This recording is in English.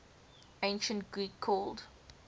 ancient greek called